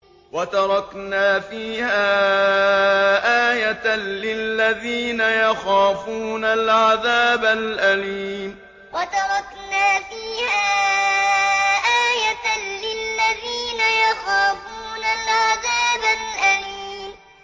وَتَرَكْنَا فِيهَا آيَةً لِّلَّذِينَ يَخَافُونَ الْعَذَابَ الْأَلِيمَ وَتَرَكْنَا فِيهَا آيَةً لِّلَّذِينَ يَخَافُونَ الْعَذَابَ الْأَلِيمَ